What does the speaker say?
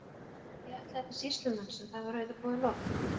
Ég ætlaði til sýslumanns en það var auðvitað búið að loka.